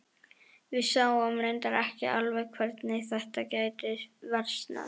Við sáum reyndar ekki alveg hvernig þetta gæti versnað.